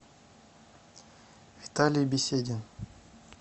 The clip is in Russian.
виталий беседин